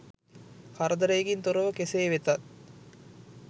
කරදරයකින් තොරව කෙසේ වෙතත්